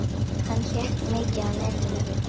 Hann hékk mikið á netinu.